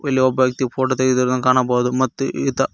ಇಲ್ಲಿ ಒಬ್ಬ ವ್ಯಕ್ತಿ ಫೋಟೋ ತೆಗೆದಿರುದ ಕಾಣಬಹುದು ಮತ್ತು ಈತ--